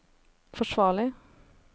forsvarlig